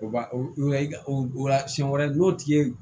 O b'a ola siɲɛ wɛrɛ n'o tigi ye